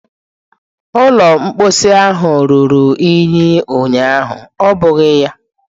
Ụlọ mposi ahụ ruru unyi ụnyaahụ, ọ bụghị ya?